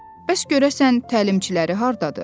Bəs görəsən təlimçiləri hardadır?